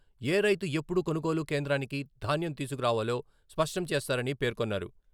ఏ రైతు ఎప్పుడు కొనుగోలు కేంద్రానికి ధాన్యం తీసుకురావాలో స్పష్టం చేస్తారని పేర్కొన్నారు.